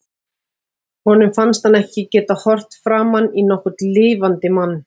Honum finnst hann ekki geta horft framan í nokkurn lifandi mann.